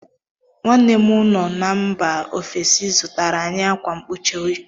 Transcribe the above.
Nwanne mụ no na mba ofesi zụtara anyị akwa nkpuchi óyi.